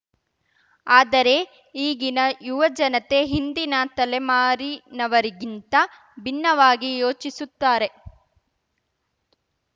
ಆದರೆ ಈಗಿನ ಯುವಜನತೆ ಹಿಂದಿನ ತಲೆಮಾರಿನವರಿಗಿಂತ ಭಿನ್ನವಾಗಿ ಯೋಚಿಸುತ್ತಾರೆ